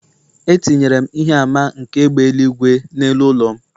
Etinyere m ihe àmà nke égbè eluigwe n’elu ụlọ m